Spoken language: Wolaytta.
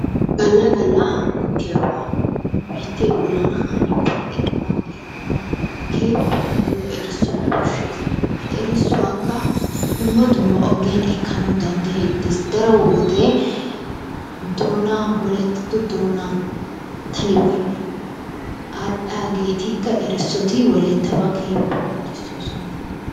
Galla galla hanettiyabaa biittee bollan hani pee'iyaba eranawu keehippe nuuyo erissoy koshshees. He erissuwaakka dumma dmma ogiyan ekkanawu dandayettees. daro wode doonaa wolaytatto doonaa televizhiiniyan aadhiyageetikka erissoti wolayttabaa keehippe qonccisiisoson.